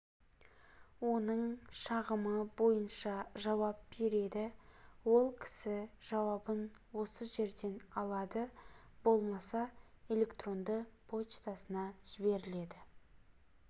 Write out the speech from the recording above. оның шағымы бойынша жауап береді ол кісі жауабын осы жерден алады болмаса электронды поштасына жіберіледі